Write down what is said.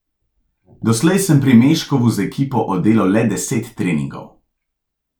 Doslej sem pri Meškovu z ekipo oddelal le deset treningov.